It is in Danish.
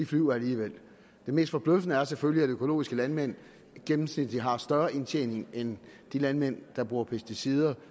flyver alligevel det mest forbløffende er selvfølgelig at økologiske landmænd gennemsnitlig har større indtjening end de landmænd der bruger pesticider